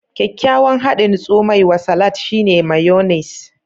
Kyakkyawan hadin tsomai wa salat, shine mayonnaise.